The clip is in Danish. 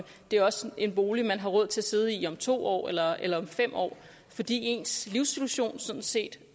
det også er en bolig man har råd til at sidde i om to år eller eller om fem år fordi ens livssituation jo sådan set